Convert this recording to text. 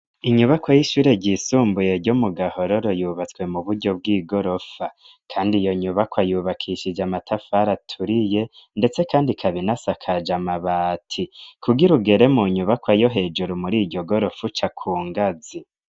Inyubakwa y'ishure ryisumbuye ryo mu Gahororo yubatswe mu buryo bw'igorofa, kandi iyo nyubakwa yubakishije amatafari aturiye ndetse kandi ikaba inasakaje amabati, kugira ugere mu nyubakwa yo hejuru mur'iryo gorofa uca ku ngazi.